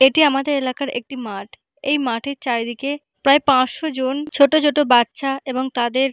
এটি আমাদের এলাকার একটি মাঠ এই মাঠের চারিদিকে প্রায় পাঁচশো জন ছোট ছোট বাচ্চা এবং তাদের--